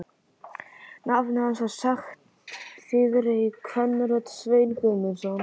Nafnið hans var sagt þýðri kvenrödd: Sveinn Guðmundsson?